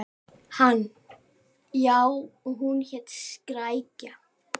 Hann: Já, og hún hét Skrækja.